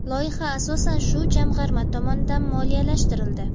Loyiha asosan shu jamg‘arma tomonidan moliyalashtirildi”.